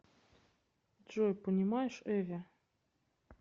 джой понимаешь эве